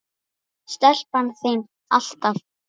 Stelpan þín, alltaf.